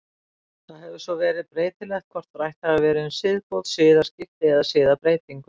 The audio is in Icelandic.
Það hefur svo verið breytilegt hvort rætt hefur verið um siðbót, siðaskipti eða siðbreytingu.